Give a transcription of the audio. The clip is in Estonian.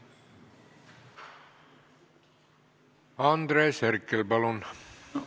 Andres Herkel, palun!